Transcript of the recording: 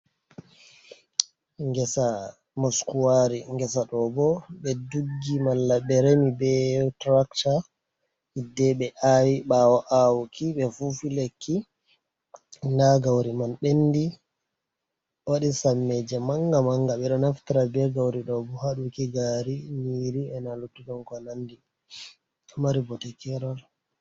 Ngesa moskuwaari, ngesa ɗo bo ɓe duggi, malla ɓe remi be turokta, yidde ɓe aawi, ɓaawo aawuki ɓe fuufi lekki, nda gawri man ɓenndi, waɗi sammeeje mannga-mannga, ɓe ɗo naftira be gawri ɗo bo haa waɗuki gaari, nyiiri, e na luttuɗum ko nanndi, ɗo mari bote keerol.